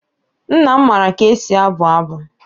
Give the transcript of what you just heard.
Nna m maara ka e si abụ abụ.